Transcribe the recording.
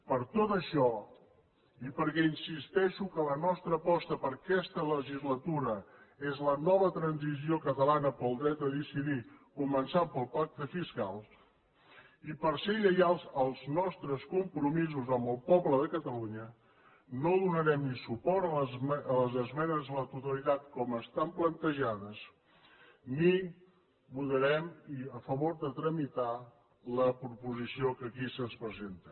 per tot això i perquè insisteixo que la nostra aposta per a aquesta legislatura és la nova transició catalana pel dret a decidir començant pel pacte fiscal i per ser lleials als nostres compromisos amb el poble de catalunya no donarem ni suport a les esmenes a la totalitat com estan plantejades ni votarem a favor de tramitar la proposició que aquí se’ns presenta